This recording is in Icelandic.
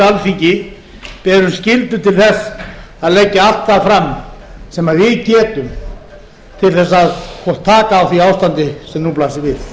alþingi berum skyldu til þess að leggja allt það fram sem við getum til þess að taka á því ástandi sem nú blasir við